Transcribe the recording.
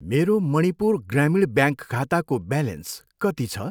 मेरो मणिपुर ग्रामीण ब्याङ्क खाताको ब्यालेन्स कति छ?